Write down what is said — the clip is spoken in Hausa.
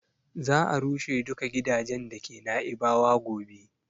Za a rushe duka gidajen da ke Naibawa gobe